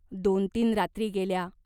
दोन तीन रात्री गेल्या.